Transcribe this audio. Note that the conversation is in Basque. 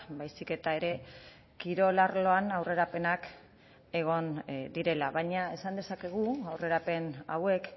baizik eta ere kirol arloan aurrerapenak egon direla baina esan dezakegu aurrerapen hauek